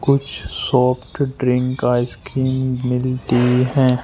कुछ soft drink ice cream मिलती है।